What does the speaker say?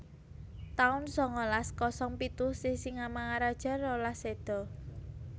taun sangalas kosong pitu Sisingamangaraja rolas séda